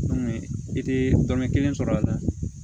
i tɛ dɔnni kelen sɔrɔ a la